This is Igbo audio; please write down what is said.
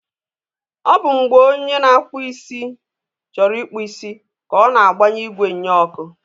ọ bụ mgbe onye na-akpụ isi chọrọ ịkpụ isi ka ọ na-agbanye igwe nnyeọkụ.